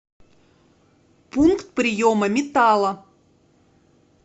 пункт приема металла